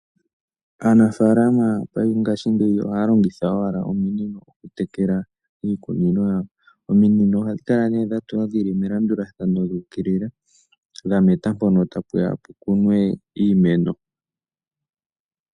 Aanafalama ohaya longitha owala ominino oku tekela iikunino yawo. Ominino ohadhi kala nee dha tulwa melandulathano dhu ukilila dha meta mpono tapu ya puye iimeno.